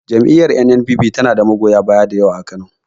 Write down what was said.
Jam'iyar N.N.P.P ta na da magoya baya dayawa a Kano